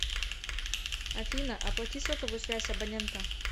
афина оплати сотовую связь абонента